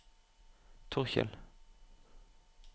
Torkjell